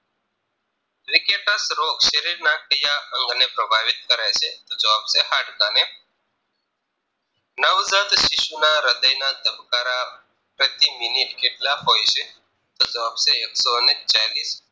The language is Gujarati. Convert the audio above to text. Wicketers રોગ શરીરના ક્યાં અંગને પ્રભાવિત કરે છે તો જવાબ છે હાડકાને નવ જાત શિશુના હ્રદયના ધબકારા પ્રતિ મિનિટ કેટલા હોય છે તો જવાબ છે એકસો ને ચાલીશ